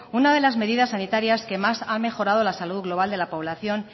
una de las medidas sanitarias que más ha mejorado la salud global de la población